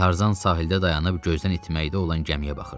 Tarzan sahildə dayanıb gözdən itməkdə olan gəmiyə baxırdı.